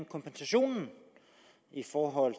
kompensationen i forhold